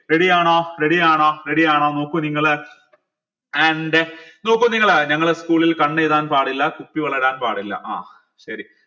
ready യാണോ ready യാണോ ready യാണോ നോക്കൂ നിങ്ങൾ and നോക്കൂ നിങ്ങൾ ഞങ്ങൾ school ൽ കണ്ണ് എഴുതാൻ പാടില്ല കുപ്പി വള ഇടാൻ പാടില്ല ആഹ് ശരി